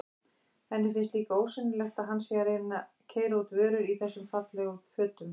Henni finnst líka ósennilegt að hann sé að keyra út vörur í þessum fallegu fötum.